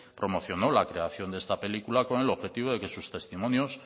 promocionó la creación de esta película con el objetivo de que sus testimonios